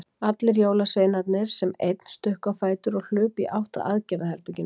Allir jólasveinarnir sem einn stukku á fætur og hlupu í átt að aðgerðaherberginu.